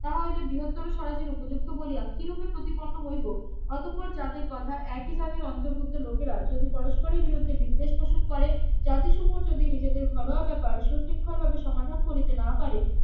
তাহা হইলে বৃহত্তর স্বরাজের উপযুক্ত বলিয়া কিরূপে প্রতিপন্ন হইব অতঃপর যাদের কথা একই জাতির অন্তর্ভুক্ত লোকেরা যদি পরস্পরে বিরুদ্ধে বিদ্বেষ পোষণ করে জাতি সমূহ যদি নিজেদের ঘরোয়া ব্যাপার সুশৃঙ্খল ভাবে সমাধান করিতে না পারে